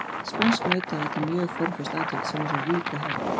Spænskt nautaat er mjög formföst athöfn sem á sér ríka hefð.